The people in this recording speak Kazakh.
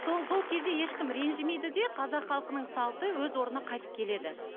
сол сол кезде ешкім ренжімейді де қазақ халқының салты өз орнына қайтып келеді